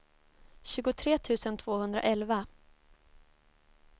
tjugotre tusen tvåhundraelva